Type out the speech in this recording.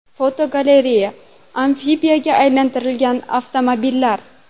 Fotogalereya: Amfibiyaga aylantirilgan avtomobillar.